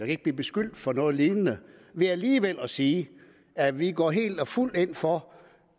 ikke blive beskyldt for noget lignende ved alligevel at sige at vi går helt og fuldt ind for